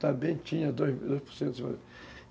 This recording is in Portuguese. Também tinha dois dois por cento.